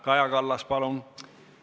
Kaja Kallas, palun!